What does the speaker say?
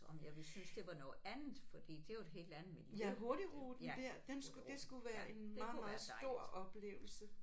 Om jeg vil synes det var noget andet fordi det er jo et helt andet miljø ja hurtigruten ja det kunne være dejligt